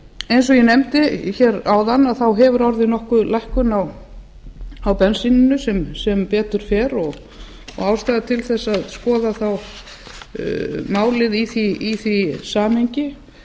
eins og ég nefndi áðan hefur orðið nokkur lækkun á bensíni sem betur fer og ástæða til þess að skoða þá málið í því samhengi